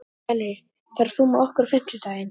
Fenrir, ferð þú með okkur á fimmtudaginn?